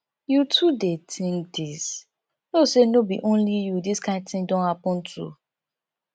you too dey think this know say no be only you this kind thing don happen to